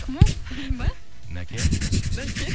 кім ол мен бе нәке нәке